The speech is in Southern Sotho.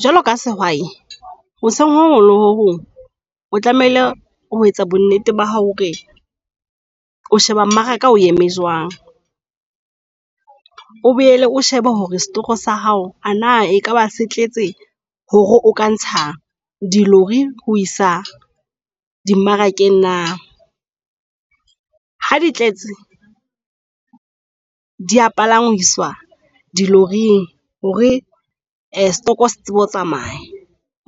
Jwalo ka sehwai hoseng ho hong le ho hong o tlamehile ho etsa bo nnete ba hao hore o sheba mmaraka o eme jwang. O boele o shebe hore setoko sa hao a na ekaba setletse hore o ka ntsha dilori ho isa dimmarakeng na. Ha di tletse di a palangwiswa diloring hore setoko se tsebe ho tsamaya.